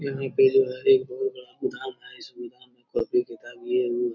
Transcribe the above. यहाँ पे जो है एक बहुत बड़ा गोदाम है। इसमें कॉपी किताब ये वो --